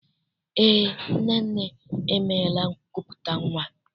Eé, Nnenne emeela nkupụta nnwa.